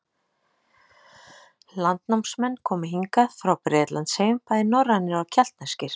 Landnámsmenn komu hingað frá Bretlandseyjum bæði norrænir og keltneskir.